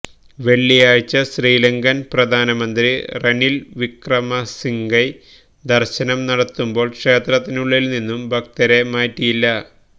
വെള്ളിയാഴ്ച ശ്രീലങ്കന് പ്രധാനമന്ത്രി റനില് വിക്രമസിംഗെ ദര്ശനം നടത്തുമ്പോള് ക്ഷേത്രത്തിനുള്ളില് നിന്നും ഭക്തരെ മാറ്റിയില്ല